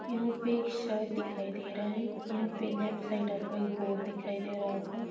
यहाँ पे एक शेर दिखाई दे रहा है यहाँ पे लेफ्ट साइड आपको एक बोर्ड दिखाई दे रहा होगा।